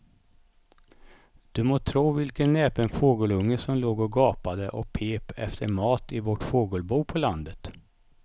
Du må tro vilken näpen fågelunge som låg och gapade och pep efter mat i vårt fågelbo på landet.